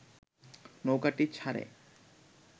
নৌকাটি ছাড়ে